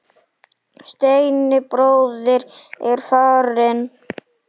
Steini bróðir er farinn.